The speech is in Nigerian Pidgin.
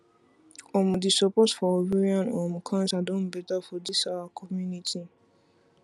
omo the support for ovarian um cancer don better for this our community